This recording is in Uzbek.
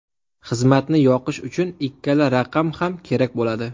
Xizmatni yoqish uchun ikkala raqam ham kerak bo‘ladi.